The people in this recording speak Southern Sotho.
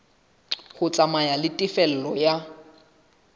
ho tsamaya le tefello ya